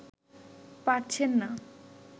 পারছেন না